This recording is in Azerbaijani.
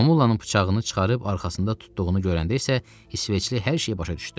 Mamulanın bıçağını çıxarıb arxasında tutduğunu görəndə isə İsveçli hər şeyi başa düşdü.